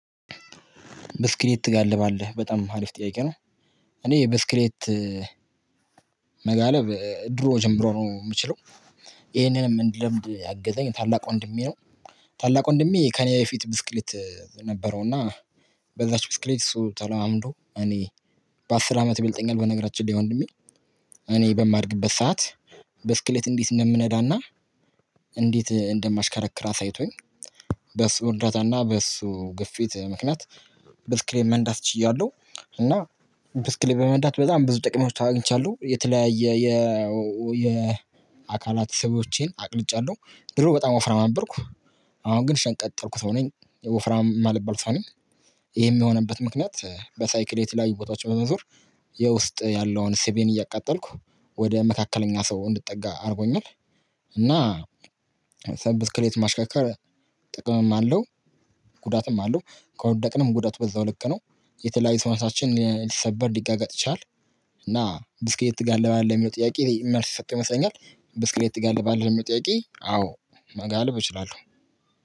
በስክሌት ትጋልባለህ በጣም አሪፍ ጥያቄ ነው? እኔ በስክሌት መጋለብ ድሮ ጀምሮ ነው የምችለው ይሄንንም እንድለምድ ያገዘኝ ታላቅ ወንድሜ ነው። ታላቅ ወንድሜ ከእኔ በፊት ብስክሌት ነበረው እና። በዛች ብስክሌት እሱ ተለማምዶ እኔን በአስር አመት ይበልጠኛል ነገርአችን ላይ ወንድ እኔ በማድግበት ሰዓት። በስክሌት እንዴት እንደምነዳና እንዴት እንደማሽከረክር አሳይቶኝ በሱ እርዳታና በሱ ግፊት ምክንያት ብስክሌት መንዳት ችያለሁ። እና ብስክሌት በመንዳት በጣም ብዙ ጥቅሞች አግኝቻለሁ። የተለያየ የ አካላት ሰብቦቼን አቅልጫለሁ ድሮ በጣም ወፍራም ነበርኩ። አሁን ግን ሸንቀጥ ያሉኩ ሰው ነኝ ወፍራም ማልባል ሰው ነኝ። ይሄም የሆነበት ምክንያት በሳይክሌት ላይ ቦታዎች በመዞር። የውስጥ ያለውን ስቤን እያቃጠልኩ ወደ መካከለኛ ሰው እንድትጠጋ አድርጎኛል። እና ሰንብስክሌት ማሽከከር ጥቅምም አለው። ጉዳትም አለው። ከወደቅንም ጉዳት በዛው ሰውነታችን ሊሰበር ሊጋጋጥ ይችላል። እና ብስልኬት ትጋልባለህ ሚለው ጥያቄ መልስ የሰጥ ው ይመስለኛል። ብስክሬት ጋር ለባለመጥያቄ አዎ መጋለብ እችላለሁ።